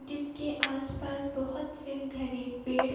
जिसके आसपास बहुत से घने पेड़--